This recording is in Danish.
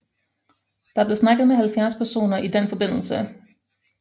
Der blev snakket med 70 personer i den forbindelse